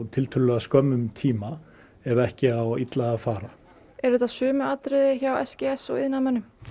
tiltölulega skömmum tíma ef ekki á illa að fara eru þetta sömu atriði hjá s g s og iðnaðarmönnum